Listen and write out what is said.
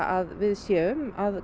að við séum að